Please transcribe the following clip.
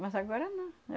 Mas agora não.